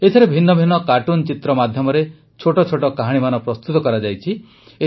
ଏଥିରେ ଭିନ୍ନ ଭିନ୍ନ କାର୍ଟୁନ ଚିତ୍ର ମାଧ୍ୟମରେ ଛୋଟ ଛୋଟ କାହାଣୀମାନ ପ୍ରସ୍ତୁତ କରାଯାଇଛି